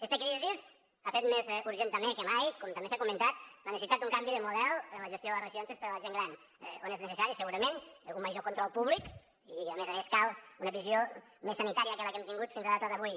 esta crisi ha fet més urgent també que mai com també s’ha comentat la necessitat d’un canvi de model en la gestió de les residències per a la gent gran on és necessari segurament un major control públic i a més a més cal una visió més sanitària que la que hem tingut fins a data d’avui